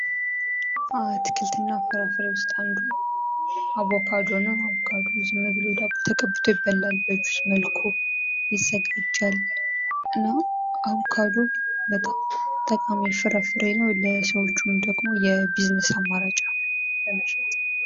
ከአትክልት እና ፍራፍሬ ውስጥ አንዱ አቮካዶ ነው። አቮካዶ ዝም ብሎ ተቀብቶ ይበላል፣ በጁስ መልኩ ይዘጋጃል እና አቮካዶ በጣም ጠቃሚ ፍራፍሬ ነው። ለሰውልጅም ደሞ የቢዝነስ አማራጭ ነው፤ በመሸጥ።